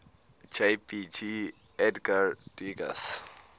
jpg edgar degas